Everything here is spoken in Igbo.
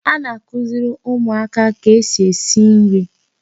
A na-kụziri ụmụaka ka esi esi nri.